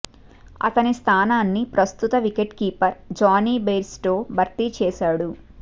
అతని స్థానాన్ని ప్రస్తుత వికెట్ కీపర్ జానీ బెయిర్స్టో భర్తీ చేశాడు